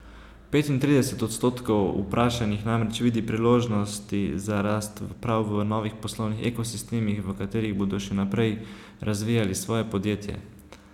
Petintrideset odstotkov vprašanih namreč vidi priložnosti za rast prav v novih poslovnih ekosistemih, v katerih bodo še naprej razvijali svoje podjetje.